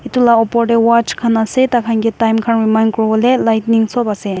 itu la opor te watch khan ase tai khan ke time khan remind kuribole lightning sob ase.